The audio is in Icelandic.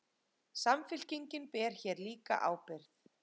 Samfylkingin ber hér líka ábyrgð